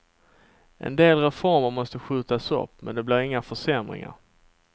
En del reformer måste skjutas upp, men det blir inga försämringar.